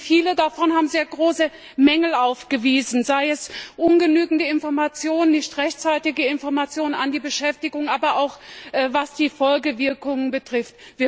Viele davon haben sehr große Mängel aufgewiesen, sei es ungenügende Informationen, nicht rechtzeitige Informationen an die Beschäftigten, aber auch was die Folgewirkungen betrifft.